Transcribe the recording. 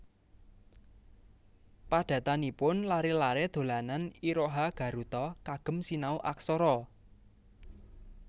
Padatanipun lare lare dolanan iroha garuta kagem sinau aksara